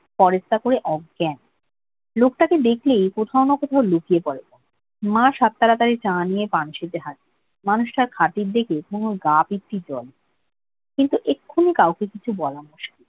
পরেশদা করে অজ্ঞান। লোকটাকে দেখলেই কোথাও না কোথাও লুকিয়ে পড়ে তনু। মা সাত তাড়াতাড়ি চা নিয়ে পানসীতে হাজির। মানুষটার খাতির দেখে তনুর গা পিত্তি জ্বলে। কিন্তু এক্ষুনি কাউকে কিছু বলা মুশকিল।